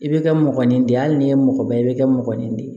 I bɛ kɛ mɔgɔninfin de ye hali n'i ye mɔgɔba ye i bɛ kɛ mɔgɔninfin de ye